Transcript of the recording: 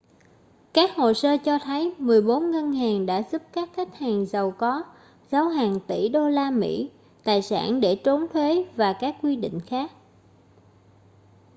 các hồ sơ cho thấy mười bốn ngân hàng đã giúp các khách hàng giàu có giấu hàng tỷ đô la mỹ tài sản để trốn thuế và các quy định khác